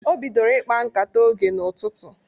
O bidoro ịkpa nkata oge n'ụtụtụ